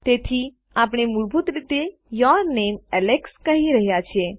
તેથી આપણે મૂળભૂત રીતે યૂર નામે એલેક્સ કહી રહ્યાં છે